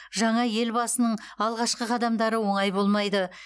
жаңа ел басының алғашқы қадамдары оңай болмайды